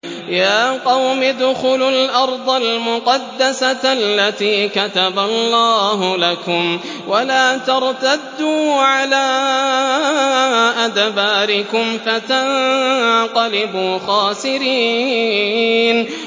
يَا قَوْمِ ادْخُلُوا الْأَرْضَ الْمُقَدَّسَةَ الَّتِي كَتَبَ اللَّهُ لَكُمْ وَلَا تَرْتَدُّوا عَلَىٰ أَدْبَارِكُمْ فَتَنقَلِبُوا خَاسِرِينَ